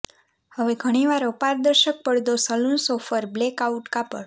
હવે ઘણી વાર અપારદર્શક પડદો સલુન્સ ઓફર બ્લેકઆઉટ કાપડ